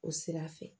O sira fɛ